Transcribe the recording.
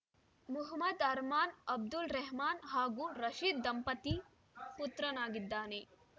ಮುಹಮ್ಮದ್‌ ಅರ್ಮಾನ್‌ ಅಬ್ದುಲ್‌ ರೆಹ್ಮಾನ್‌ ಹಾಗೂ ರಶೀದ ದಂಪತಿ ಪುತ್ರನಾಗಿದ್ದಾನೆ